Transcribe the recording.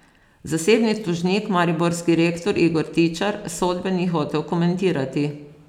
Zasebni tožnik, mariborski rektor Igor Tičar, sodbe ni hotel komentirati.